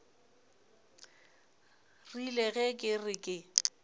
rile ge ke re ke